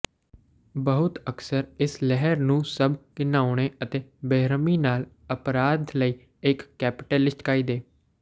ਬਹੁਤ ਅਕਸਰ ਇਸ ਲਹਿਰ ਨੂੰ ਸਭ ਘਿਨਾਉਣੇ ਅਤੇ ਬੇਰਹਿਮੀ ਨਾਲ ਅਪਰਾਧ ਲਈ ਇੱਕ ਕੈਟਾਲਿਸਟ ਕਾਇਦੇ